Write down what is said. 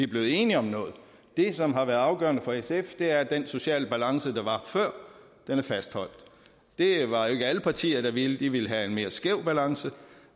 blevet enige om noget det som har været afgørende for sf er at den sociale balance der var før er fastholdt det var jo ikke alle partier der ville det de ville have en mere skæv balance